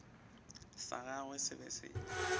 sa gagwe se be se